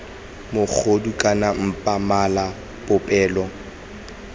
mogodu kana mpa mala popelo